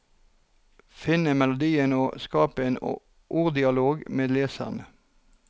Finne melodien og skape en orddialog med leserne.